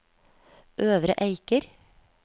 Øvre Eiker